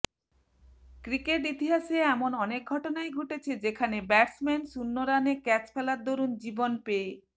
cricket ইতিহাসে এমন অনেক ঘটনাই ঘটেছে যেখানে ব্যাটসম্যান শূন্য রানে ক্যাচ ফেলার দরুন জীবন পেয়ে